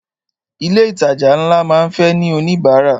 Ilé ìtajà ńlá máa ń fẹ́ ní oníbárà.